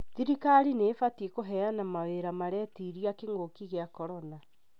Thirikari nĩ ĩbatiĩ kũheana mawĩra maretiria kĩ'ngũki gĩa korona